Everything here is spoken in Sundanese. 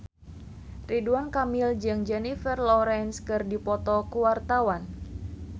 Ridwan Kamil jeung Jennifer Lawrence keur dipoto ku wartawan